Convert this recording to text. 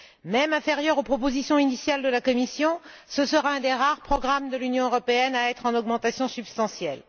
Même inférieur aux propositions initiales de la Commission, ce programme sera un des rares programmes de l'Union européenne à connaître une augmentation substantielle.